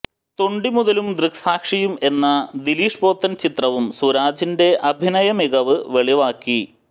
തൊണ്ടിമുതലും ദൃക് സാക്ഷിയും എന്ന ദിലീഷ് പോത്തൻ ചിത്രവും സുരാജിന്റെ അഭിനയ മികവ് വെളിവാക്കി